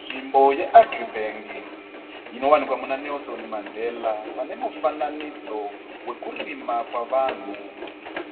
Nzvimbo ye"AgriBank" inowanikwa muna"Nelson Mandela" pane mufananidzo wekurima kwevanhu.